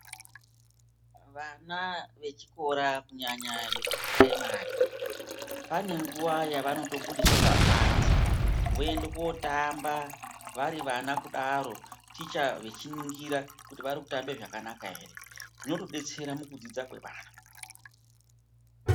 Vana vechikora kunyanya vekupuraimari, pane nguva yavanotobudiswa pabanze voende kotamba vari vana kudaro, ticha vechiningira kuti vari kutamba zvakanaka here. Zvinotodetsera mukudzidza kwevana.